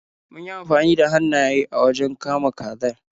Mun yi amfani da hannayen mu wajen kama kazar.